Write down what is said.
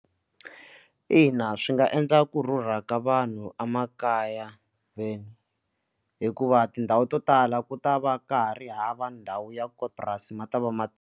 Ina, swi nga endla ku rhurha ka vanhu emakaya vo hikuva tindhawu to tala ku ta va ka ha ri hava ndhawu ya kona purasi ma ta va ma.